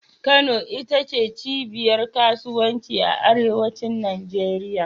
Kano ita ce cibiyar kasuwanci a arewacin Najeriya